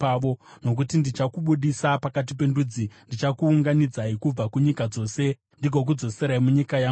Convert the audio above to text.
“ ‘Nokuti ndichakubudisa pakati pendudzi; ndichakuunganidzai kubva kunyika dzose ndigokudzoserai munyika yangu chaiyo.